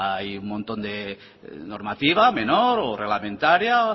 hay un montón de normativa menor o reglamentaria